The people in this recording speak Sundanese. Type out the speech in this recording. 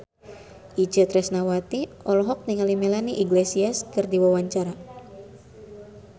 Itje Tresnawati olohok ningali Melanie Iglesias keur diwawancara